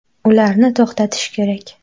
Ularni to‘xtatish kerak.